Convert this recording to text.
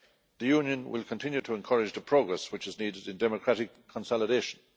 The Union will continue to encourage the progress which is needed in democratic consolidation.